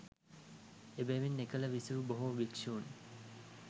එබැවින් එකල විසූ බොහෝ භික්‍ෂූන්